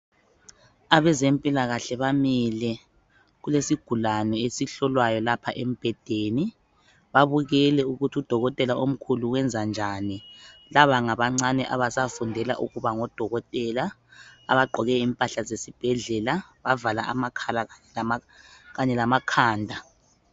abezempilakahle bamile kulesigulane esihlolwayo lapha embhedeni babukele ukuthi u dokotela omkhulu wenza njani laba ngabancane abasafundela ukuba ngodokotela abagqoke impahla zesibhedlela bavala amakhala kanye lamakhanda